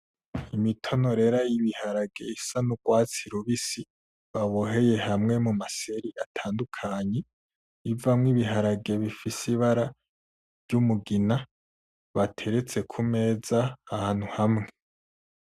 Imitonorera yibiharage isa nugwatsi rubisi baboheye hamwe mumaseri atandukanye ivamwo ibiharage bifise ibara ryumugina bateretse kumeza ahantu hamwe